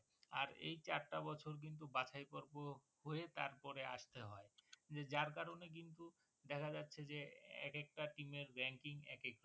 আর এই চারটা বছর কিন্তু বাছাই পর্ব হয়ে তার পরে আসতে হয়ে যার কারণে কিন্তু দেখা যাচ্ছে যে এক একটা team এর ranking এক এক রকম